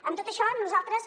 amb tot això nosaltres